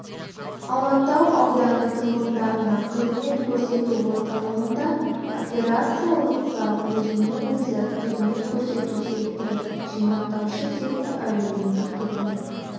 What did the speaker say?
алатау ауданы тұрғындарына қызмет көрсету орталығында операциялық зал өзіне-өзі қызмет көрсету секторы жинақтаушы сектор әлеуметтік қызмет